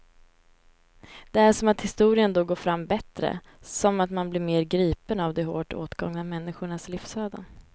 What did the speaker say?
Det är som att historien då går fram bättre, som att man blir mer gripen av de hårt åtgångna människornas livsöden.